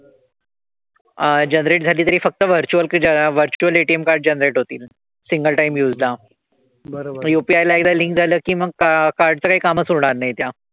अह generate झाली तरी virtual कि ज्याला virtual ATM card generate होतील. single time use ला. UPI ला एकदा link झालं कि मग card चं काही कामच उरणार नाही त्या.